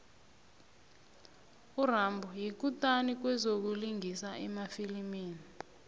urambo yikutani kwezokulingisa emafilimini